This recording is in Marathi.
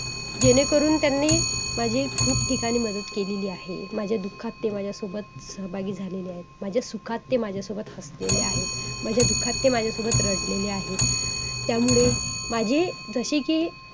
जे आत्ता पर्यंत चालू आहे. त्या ध्यानाचे शिक्षक आम्ही आहोत.त्यांनी आम्हाला हे ध्यान करण्यासाठी प्रवृत्त केले.और आणि मी ही हे ध्यान गेले आठ वर्षापासून करत आहे.